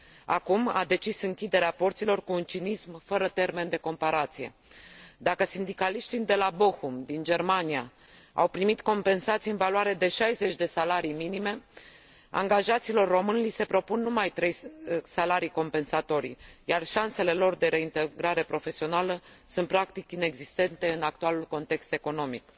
Acum a decis închiderea porților cu un cinism fără termen de comparație. Dacă sindicaliștii de la Bochum, din Germania, au primit compensații în valoare de 60 de salarii minime, angajaților români li se propun numai trei salarii compensatorii, iar șansele lor de reintegrare profesională sunt practic inexistente în actualul context economic.